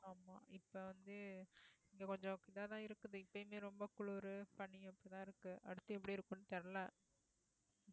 ஆமா இப்ப வந்து இங்க கொஞ்சம் இதாதான் இருக்குது இப்பயுமே ரொம்ப குளிரு பனியும் அப்படித்தான் இருக்கு அடுத்து எப்படி இருக்கும்னு தெரியல